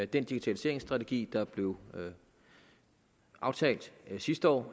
den digitaliseringsstrategi der blev aftalt sidste år og